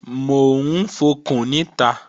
Mò ń fọkùn níta